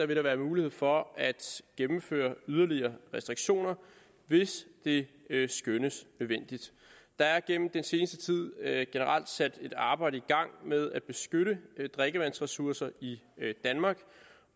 der være mulighed for at gennemføre yderligere restriktioner hvis det skønnes nødvendigt der er gennem den seneste tid generelt sat et arbejde i gang med at beskytte drikkevandsressourcer i danmark